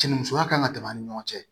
Cɛnnimusoya kan ka tɛmɛ a ni ɲɔgɔn cɛ